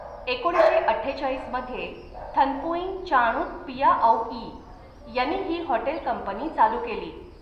एकोणीसशे अठ्ठेचाळीस मध्ये थन्पुईंग चाणूत पियाऔई यांनी ही हॉटेल कंपनी चालू केली.